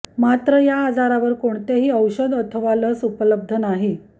मात्र या आजारावर कोणतेही औषध अथवा लस उपलब्ध नाही